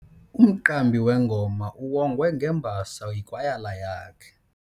Umqambi wengoma uwongwe ngembasa yikwayala yakhe.